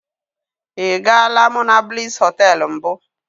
I gaala monablis hoteelu mbụ.